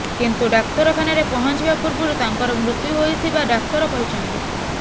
କିନ୍ତୁ ଡାକ୍ତରଖାନାରେ ପହଞ୍ଚିବା ପୂର୍ବରୁ ତାଙ୍କର ମୃତ୍ୟୁ ହୋଇଥିବା ଡାକ୍ତର କହିଛନ୍ତି